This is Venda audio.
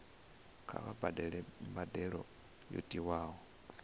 kha vha badele mbadelo yo tiwaho